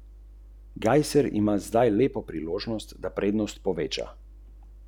Vam je torej nekoliko podoben, tudi vi ste začeli kot nekakšen samouk, skupaj s sestro, na cesti?